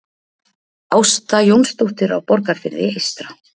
Ásta Jónsdóttir á Borgarfirði eystra